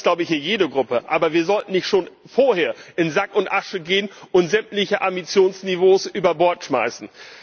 Das ist, glaube ich, hier jede Fraktion. Aber wir sollten nicht schon vorher in Sack und Asche gehen und sämtliche Ambitionsniveaus über Bord schmeißen.